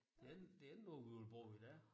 Det ikke det ikke noget vi ville bruge i dag